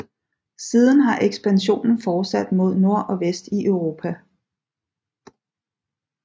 Siden har ekspansionen fortsat mod nord og vest i Europa